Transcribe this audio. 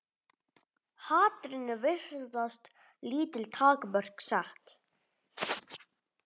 Hatrinu virðast lítil takmörk sett.